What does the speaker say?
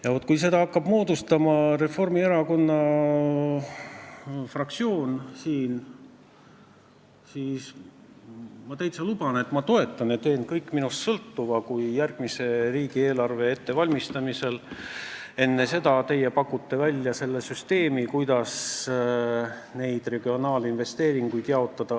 Ja kui seda hakkab siin moodustama Reformierakonna fraktsioon, siis ma täitsa luban, et ma toetan teid, kui te järgmise riigieelarve ettevalmistamisel pakute välja süsteemi, kuidas neid regionaalinvesteeringuid õiglasemalt jaotada.